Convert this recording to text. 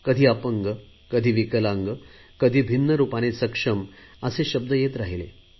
कधी अपंग कधी विकलांग तर कधी भिन्न रुपाने सक्षम असे शब्द येत राहिले